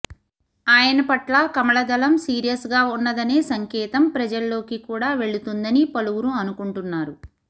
ఆయన పట్ల కమలదళం సీరియస్ గా ఉన్నదనే సంకేతం ప్రజల్లోకి కూడా వెళుతుందని పలువురు అనుకుంటున్నారు